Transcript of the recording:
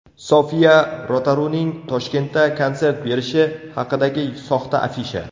Sofiya Rotaruning Toshkentda konsert berishi haqidagi soxta afisha.